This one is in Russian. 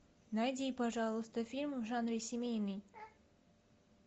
найди пожалуйста фильм в жанре семейный